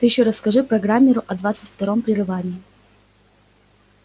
ты ещё расскажи программеру о двадцать первом прерывании